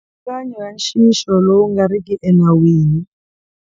Mipfilungano ya nxixo lowu nga riki enawini.